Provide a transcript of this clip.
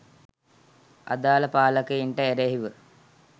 අදාළ පාලකයින්ට එරෙහිව